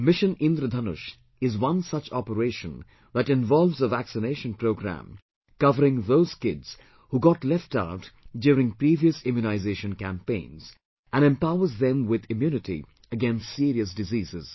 'Mission Indradhanush' is one such operation that involves a vaccination program covering those kids who got left out during previous immunization campaigns and empowers them with immunity against serious diseases